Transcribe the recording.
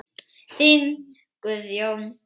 Þinn Guðjón.